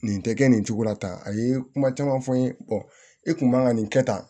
Nin tɛ kɛ nin cogo la tan a ye kuma caman fɔ n ye e kun man ka nin kɛ tan